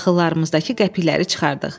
Daxıllarımızdakı qəpikləri çıxartdıq.